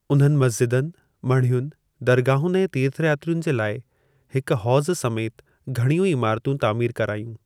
उन्हनि मस्जिदनि, मढ़ियुनि, दरगाहुनि ऐं तीर्थयात्रियुनि जे लाइ हिक हौज़ समेति घणियूं ई इमारतूं तामीरु कराइयूं।